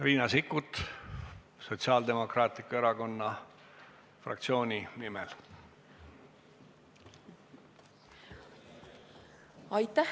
Riina Sikkut Sotsiaaldemokraatliku Erakonna fraktsiooni nimel!